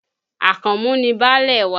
Àkànmú ni baálé wa